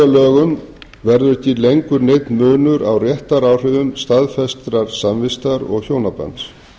lögum verður ekki lengur neinn munur á réttaráhrifum staðfestrar samvistar og hjónabands